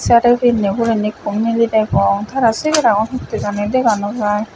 sari pinney hurendi ikko miley degong tara sengera gun hittey jani dega no jaai.